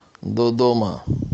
додома